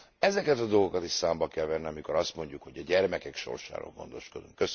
Ezeket a dolgokat is számba kell venni, amikor azt mondjuk, hogy a gyermekek sorsáról gondoskodunk.